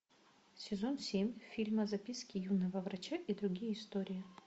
сезон семь фильма записки юного врача и другие истории